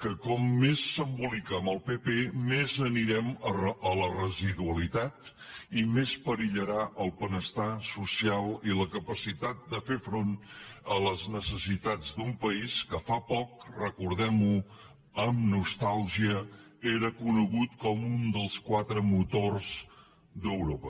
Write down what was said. que com més s’embolica amb el pp més anirem a la residualitat i més perillaran el benestar social i la capacitat de fer front a les necessitats d’un país que fa poc recordem ho amb nostàlgia era conegut com un dels quatre motors d’europa